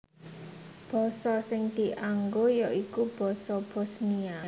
Basa sing dianggo ya iku basa Bosnia